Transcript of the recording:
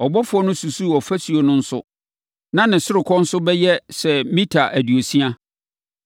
Ɔbɔfoɔ no susuu ɔfasuo no nso a na ne ɔsorokɔ nso bɛyɛ sɛ mita aduosia.